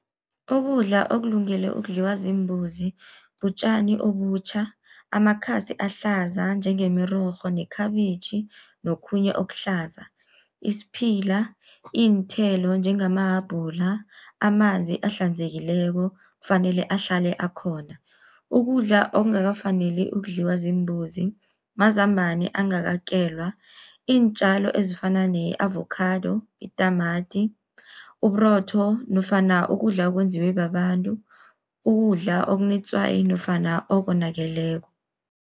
Ukudla okulungele ukudliwa ziimbuzi butjani obutjha, amakhasi ahlaza njengemirorho nekhabitjhi nokhunye okuhlaza. Isiphila, iinthelo njengama habhula, amanzi ahlanzekileko kufanele ahlale akhona. Ukudla okungakafaneli ukudliwa ziimbuzi mazambana angakakelwa, iintjalo ezifana ne-avokhado, itamati, uburotho nofana ukudla okwenziwe babantu, ukudla okunetswayi nofana okonakeleko.